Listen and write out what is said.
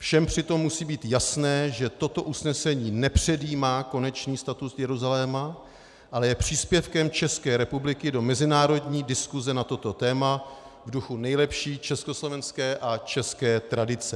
Všem přitom musí být jasné, že toto usnesení nepředjímá konečný status Jeruzaléma, ale je příspěvkem České republiky do mezinárodní diskuse na toto téma v duchu nejlepší československé a české tradice.